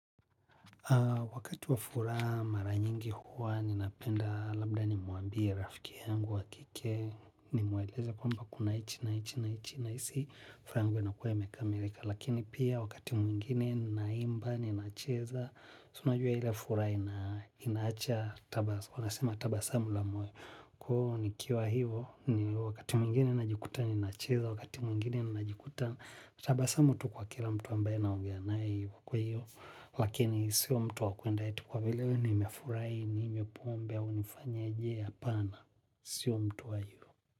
Wakati wa furaha mara nyingi huwa, ninapenda labda nimuambie rafiki yangu wa kike, nimwelekeze kwamba kuna hichi na hichi nahisi, furaha yangu inakua imekamilika, lakini pia wakati mwingine nina imba, ninacheza, si unajua ile furaha inaacha tabasamu, wanasema tabasamu la moyo, ko nikiwa hivo, wakati mwingine najikuta ninacheza, wakati mwingine najikuta, tabasamu tu kwa kila mtu ambaye naongea nae hivo kwahiyo, lakini sio mtu wa kwenda eti kwa vile nimefurahi ninywe pombe au nifanyeje hapana. Sio mtu wa yu.